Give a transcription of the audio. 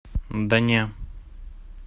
да не